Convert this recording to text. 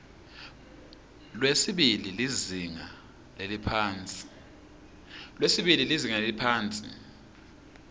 lwesibili lizinga leliphansi